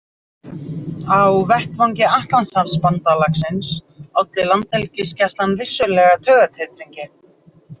Á vettvangi Atlantshafsbandalagsins olli landhelgisgæslan vissulega taugatitringi.